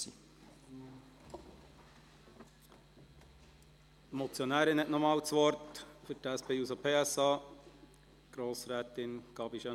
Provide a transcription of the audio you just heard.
Die Motionärin, Grossrätin Gabi Schönenberger, hat nochmals das Wort für die SP-JUSOPSA.